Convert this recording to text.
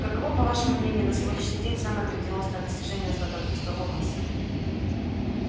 каково по вашему мнению на сегодняшний день самое грандиозное достижение златопуста локонса